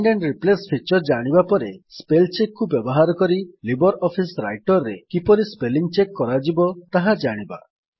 find and replace feature ଜାଣିବା ପରେ Spellcheckକୁ ବ୍ୟବହାର କରି ଲିବର ଅଫିସ୍ ରାଇଟର୍ ରେ କିପରି ସ୍ପେଲିଙ୍ଗ୍ ଚେକ୍ କରାଯିବ ତାହା ଜାଣିବା